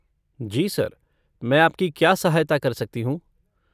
जी sir, मैं आपकी क्या सहायता कर सकती हूँ?